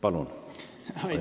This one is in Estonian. Palun!